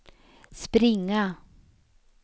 springa